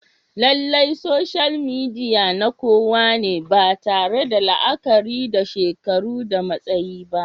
Lallai soshal midiya na kowa ne ba tare da la'akari da shekaru da matsayi ba